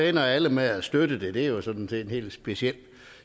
ender alle med at støtte det det er jo sådan set en helt speciel